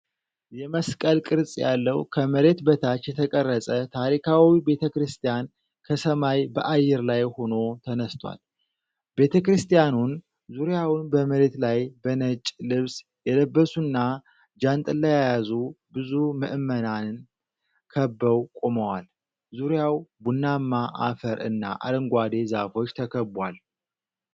የመስቀል ቅርጽ ያለው፣ ከመሬት በታች የተቀረጸ ታሪካዊ ቤተ ክርስቲያን ከሰማይ በአየር ላይ ሆኖ ተነስቷል። ቤተ ክርስቲያኑን ዙሪያውን በመሬት ላይ በነጭ ልብስ የለበሱና ጃንጥላ የያዙ ብዙ ምዕመናን ከበው ቆመዋል። ዙሪያው ቡናማ አፈር እና አረንጓዴ ዛፎች ተከቧል።